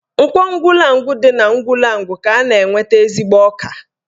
Nkwọ Ugwulangwu dị n'Ugwulangwu ka a na-enweta ezigbo ọka